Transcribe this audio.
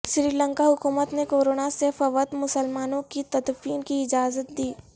سری لنکا حکومت نے کورونا سے فوت مسلمانوں کی تدفین کی اجازت دی